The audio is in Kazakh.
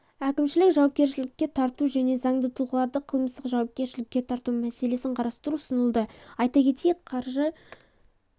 әкімшілік жауапкершілікке тарту мен заңды тұлғаларды қылмыстық жауапкершілікке тарту мәселесін қарастыру ұсынылды айта кетейік қаржы